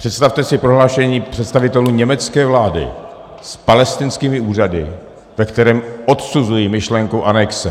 Představte si prohlášení představitelů německé vlády s palestinskými úřady, ve kterém odsuzují myšlenku anexe.